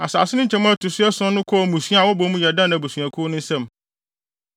Asase no nkyemu a ɛto so ason no kɔɔ mmusua a wɔbɔ mu yɛ Dan abusuakuw no nsam.